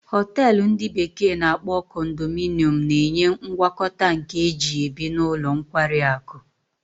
Hotelu ndi bekee na-akpo condominium na-enye ngwakọta nke ihe eji ebi na ụlọ nkwari akụ.